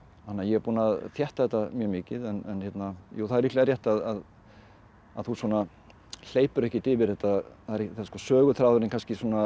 að ég er búinn að þétta þetta mjög mikið en það er líklega rétt að þú hleypur ekkert yfir þetta söguþráðurinn kannski